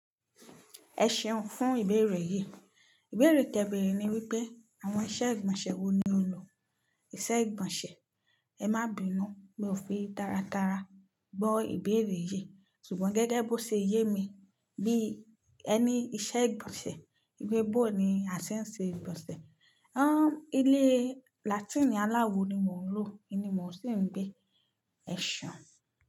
Ẹ ṣeun fún ìbéèrè yí. Ìbéèrè tẹ́bẹ̀ẹ̀rẹ̀ ni wípé àwọn iṣẹ́ ìgbọ̀nsẹ̀ wo ni o lò. Iṣẹ́ ìgbọ̀nsẹ̀? Ẹ má bínú, mi ò fi tára tára gbọ́ ìbéèrè yí ṣùgbọ́n gẹ́gẹ́ bó ṣe yé mi bí ẹ ní iṣẹ́ ìgbọ̀nsẹ̀, ìgbẹ́ bọ̀ ni a ti ń ṣe ìgbọ̀nsẹ̀. Áà, ilé Latin aláwo ni mò ń lò, inú mò ń sì ń gbé. Ẹ ṣeun.